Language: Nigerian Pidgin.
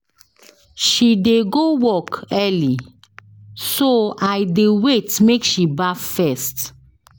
She dey go work early so I dey wait make she baff first.